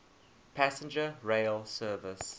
passenger rail service